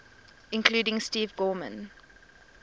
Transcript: including steve gorman